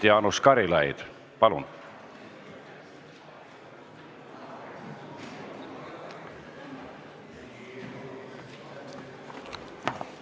Jaanus Karilaid, palun!